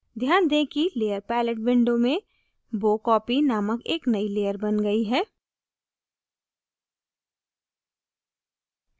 ध्यान दें कि layer palette window में bow copy named एक नयी layer bow गयी है